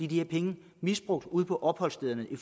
de her penge misbrugt ude på opholdsstederne i